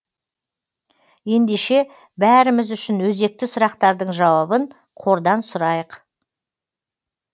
ендеше бәріміз үшін өзекті сұрақтардың жауабын қордан сұрайық